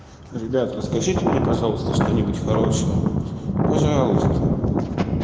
ребята расскажите мне пожалуйста что-нибудь хорошее пожалуйста